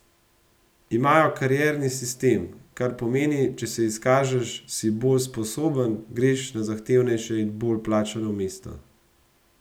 Imajo karierni sistem, kar pomeni: 'če se izkažeš, si bolj sposoben, greš na zahtevnejše in bolje plačano mesto'.